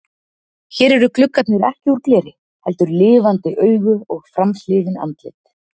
Hér eru gluggarnir ekki úr gleri heldur lifandi augu og framhliðin andlit.